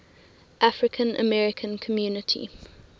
african american community